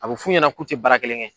A bɛ f'u ɲɛnɛ k'u tɛ baara kelen kɛ.